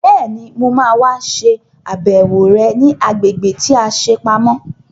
Bẹ́ẹ̀ni, mo ma wá ṣe àbẹ̀wò rẹ̀ ní agbègbè tí a ṣe pamọ́